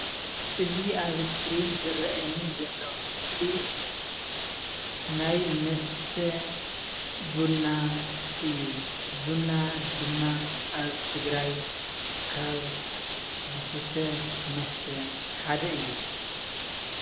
እዚ ኣብ ስክሪን ዝረአ ዘሎ ምስሊ ናይ መስተ ቡና እዩ። ቡና ድማ ኣብ ትግራይ ካብ ዝስተ መስተ ሓደ እዩ።